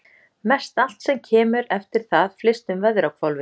Mestallt sem kemur eftir það flyst um veðrahvolfið.